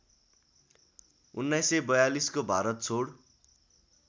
१९४२को भारत छोड